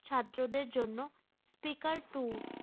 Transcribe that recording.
ছাত্র দের জন্য speaker টু